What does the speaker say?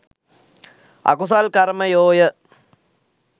අකුසල් කර්මයෝ ය.